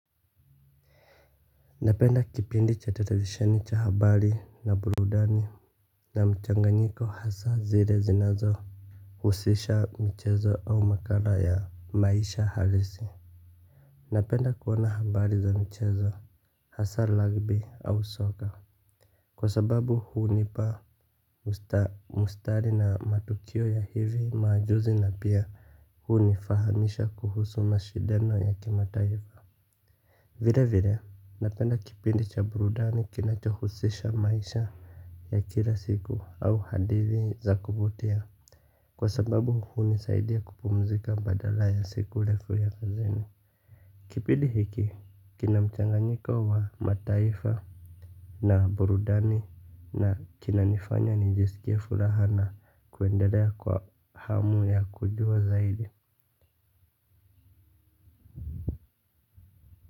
Napenda kipindi cha televisheni cha habari na burudani. Na mchanganyiko hasa zile zinazohusisha mchezo au makala ya maisha halisi. Napenda kuona habari za michezo. Hasa lagbi au soka. Kwa sababu hunipa muhtasari na matukio ya hivi majuzi na pia hunifahamisha kuhusu na shindano ya kimataifa. Vile vile napenda kipindi cha burudani kinachuhusisha maisha ya kila siku au hadithi za kuvutia. Kwa sababu hunisaidi kupumzika badala ya siku ndefu ya kazini. Kipindi hiki kina mchanganyiko wa mataifa na burudani na kinanifanya nijisikie furaha na kuendelea kwa hamu ya kujua zaidi.